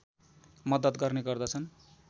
मद्दत गर्ने गर्दछन्